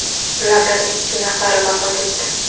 Ulardan ikki nafari vafot etdi.